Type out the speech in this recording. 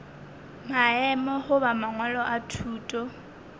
maemo goba mangwalo a thuto